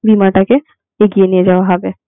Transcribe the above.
বীমাটাকে এগিয়ে নিয়ে যাওয়া হবে.